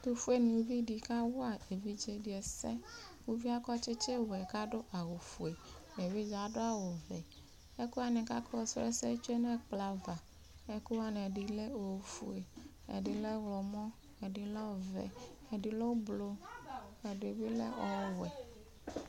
Ɛtʋfue nɩvɩ dɩ kawa evɩdze dɩ ɛsɛ ʋvɩe akɔ tsɩtsɩ wɛ kadʋ awʋ fue evɩdze adʋ vɛ ɛkuwanɩ afɔ su ɛsɛ yɛ tsoe nɛ ɛkplɔ ava Ekʋwanɩ ɛdɩ lɛ ofue ɛdɩ lɛ ɔwlɔmɔ ɛdɩ lɛ ɔvɛ ɛdɩ ʋblʋ ɛdɩ lɛ ɔwɛ